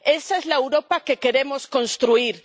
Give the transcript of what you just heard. Esa es la Europa que queremos construir.